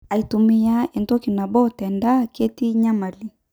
Aitumia entoki nabo tendaa ketii enyamali.